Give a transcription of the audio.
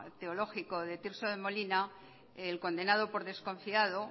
teológico de tirso de molina el condenado por desconfiado